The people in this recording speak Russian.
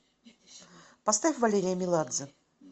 поставь валерия меладзе